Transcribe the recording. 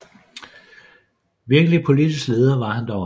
Virkelig politisk leder var han dog aldrig